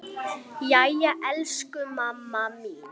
Jæja, elsku mamma mín.